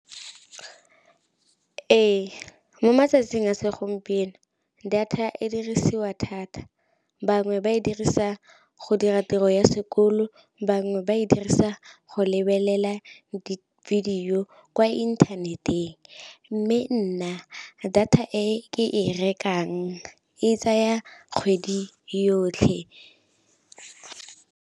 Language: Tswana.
Ee, mo matsatsing a segompieno data e dirisiwa thata bangwe ba e dirisa go dira tiro ya sekolo, bangwe ba e dirisa go le lebelela di-video kwa inthaneteng. Mme nna data e ke e rekang e tsaya kgwedi yotlhe.